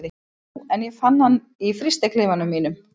Jú, en ég fann hann í frystiklefanum mínum.